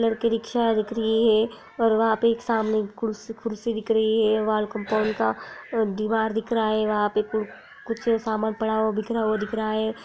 लड़के रिक्शा दिख रही है और वहाँ पे एक सामने एक कुर्सी-कुर्सी दिख रही है वॉल कम्पाउन्ड का दीवाल दिख रहा है वहाँ पे कु कुछ सामान पड़ा हुआ बिखरा हुआ दिख रहा है।